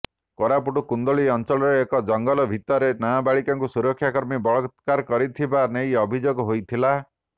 କୋରାପୁଟର କୁନ୍ଦୁଲି ଅଂଚଳରେ ଏକ ଜଙ୍ଗଲ ଭିତରେ ନାବାଳିକାଙ୍କୁ ସୁରକ୍ଷା କର୍ମୀ ବଳାତ୍କାର କରିଥିବା ନେଇ ଅଭିଯୋଗ ହୋଇଥିଲା